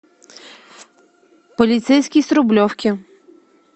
полицейский с рублевки